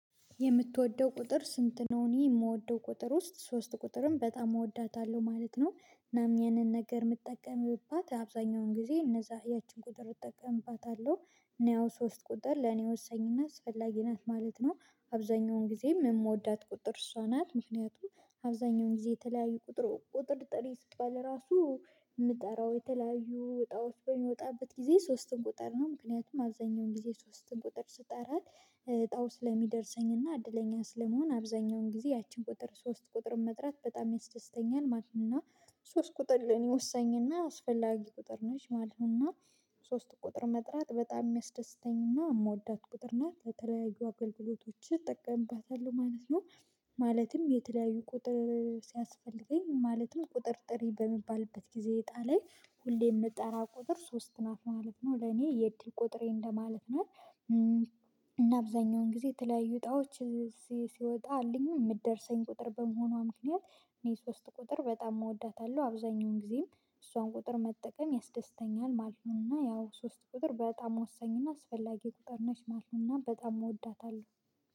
የምትወደው ቁጥር ስንት ነው? እኔ የምወደው ቁጥር ውስጥ ሶስት ቁጥርን በጣም እወዳታለሁ ማለት ነው። እናም ያንን ነገር የምትጠቀምባት አብዛኛውን ጊዜ እነዛ ያቺን ቁጥር እጠቀምባታለሁ። እኔ ያው ሶስት ቁጥር ለኔ ወሳኝና አስፈላጊ ናት ማለት ነው። አብዛኛውን ጊዜ የምወዳት ቁጥር እሷ ናት። ምክንያቱም አብዛኛውን ጊዜ የተለያዩ ቁጥር ቁጥር ጥሪ ስባል ራሱ የምጠራው የተለያዩ እጣዎች በሚወጣበት ጊዜ ሶስትን ቁጥር ነው ምክንያቱም አብዛኛውን ጊዜ ሶስትን ቁጥር ስጠራ። ዕጣው ስለሚደርሰኝና እድለኛ ስለምሆን አብዛኛውን ጊዜ ያችን ቁጥር ሶስት ቁጥርን መጥራት በጣም ያስደስተኛል ማለት ነው። ሶስት ቁጥር ለኔ ወሳኝና አስፈላጊ ቁጥር ነች ማለት ነውና። ሶስት ቁጥር መጥራት በጣም የሚያስደስተኝና የምወዳት ቁጥር ናት ለተለያዩ አገልግሎቶችህ እጠቀምባታለሁ ማለት ነው። ማለትም የተለያዩ ቁጥር ሲያስፈልገኝ ማለትም ቁጥር ጥሪ በሚባልበት ጊዜ እጣ ላይ ሁሌ የምጠራ ቁጥር ሶስት ናት ማለት ነው ለኔ የዕድል ቁጥሬ እንደማለት ናት። እና አብዛኛውን ጊዜ የተለያዩ ዕጣዎች እዚህ ሲወጣልኝም የምትደርሰኝ ቁጥር በመሆኗ ምክንያት እኔ ሶስት ቁጥር በጣም እወዳታለሁ አብዛኛውን ጊዜም እሷን ቁጥር መጠቀም ያስደስተኛል ማለት ነውና። ያው ሶስት ቁጥር በጣም ወሳኝና አስፈላጊ ቁጥር ነች ማለት ነውና በጣም እወዳታለሁ